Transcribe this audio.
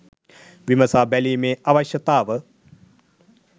විමසා බැලීමේ අවශ්‍යතාව